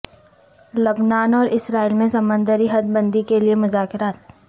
لبنان اور اسرائیل میں سمندری حد بندی کیلئے مذاکرات